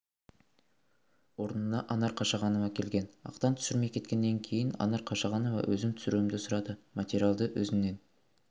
орнына анар қашағанова келген ақтан түсірмей кеткеннен кейін анар қашағанова өзім түсіруімді сұрады материалды өзіңнен